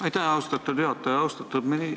Aitäh, austatud juhataja!